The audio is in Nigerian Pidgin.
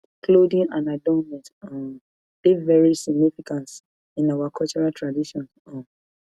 clothing and adornment um dey very significance in our cultural traditions um